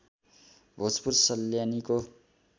Bhojpur सल्यानीको